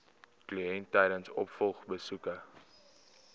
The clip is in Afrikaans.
kliënt tydens opvolgbesoeke